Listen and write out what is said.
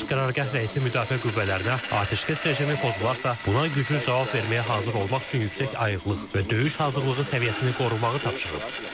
Baş qərargah rəisi müdafiə qüvvələrinə atəşkəs rejimi pozularsa, buna güclü cavab verməyə hazır olmaq üçün yüksək ayıqlıq və döyüş hazırlığı səviyyəsini qorumağı tapşırıb.